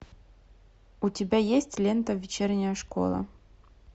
у тебя есть лента вечерняя школа